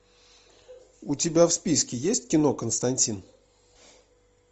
у тебя в списке есть кино константин